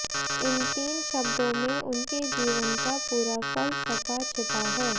इन तीन शब्दों में उनके जीवन का पूरा फलसफा छिपा है